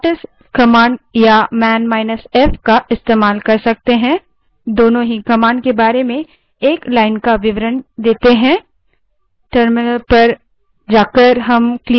उस स्थिति में हम whatis command या man –f command का इस्तेमाल कर सकते हैं दोनों ही command के बारे में एक line का विवरण देते हैं